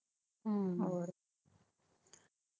ਹੋਰ